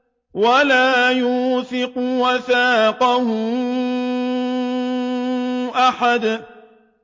وَلَا يُوثِقُ وَثَاقَهُ أَحَدٌ